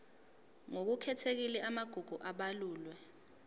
ngokukhethekile amagugu abalulwe